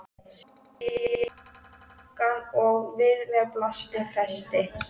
Síðan opnaði ég pakkann og við mér blasti festi.